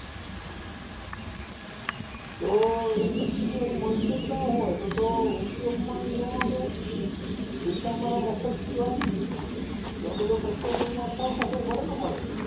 તો એ subsidy મળતું જ ન હોય તો તો ઉપયોગમાં ય ન આવે પૈસા અમારા મફત જાય આ બધો પ્રશ્ન તો પાછા ઉભા રે ને અમારે